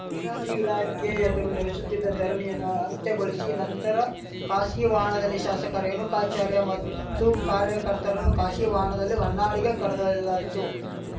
ನೀರಾವರಿ ಇಲಾಖೆ ಎದುರು ನಡೆಸುತ್ತಿದ್ದ ಧರಣಿಯನ್ನು ಅಂತ್ಯಗೊಳಿಶಿ ನಂತರ ಖಾಶಗಿ ವಾಹನದಲ್ಲಿ ಶಾಶಕ ರೇಣುಕಾಚಾರ್ಯ ಮತ್ತು ಕಾರ್ಯಕರ್ತರನ್ನು ಖಾಶಗಿ ವಾಹನದಲ್ಲಿ ಹೊನ್ನಾಳಿಗೆ ಕರೆದೊಯ್ಯಲಾಯಿತು